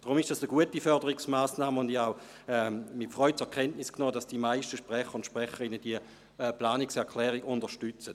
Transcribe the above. Deshalb ist es eine gute Förderungsmassnahme, und ich habe auch mit Freude zur Kenntnis genommen, dass die meisten Sprecherinnen und Sprecher diese Planungserklärung unterstützen.